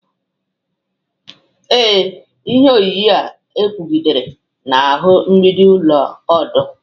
Ee, ihe onyonyo a kwụgidere n'ahụ mgbidi ụlọ ọdụ